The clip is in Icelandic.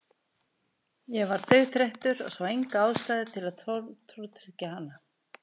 Ég var dauðþreyttur og sá enga ástæðu til að tortryggja hana.